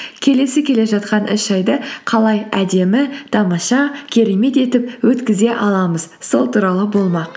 келесі келе жатқан үш айды қалай әдемі тамаша керемет етіп өткізе аламыз сол туралы болмақ